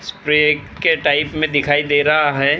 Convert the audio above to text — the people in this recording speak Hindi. स्प्रे के टाइप में दिखाई दे रहा है ।